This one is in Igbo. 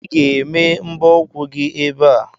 Ị ga-eme mbọ ụkwụ gị ebe a!